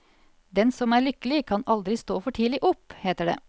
Den som er lykkelig kan aldri stå for tidlig opp, heter det.